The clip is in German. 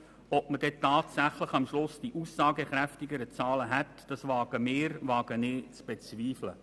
Ob wir am Schluss tatsächlich die aussagekräftigeren Zahlen hätten, wage ich zu bezweifeln.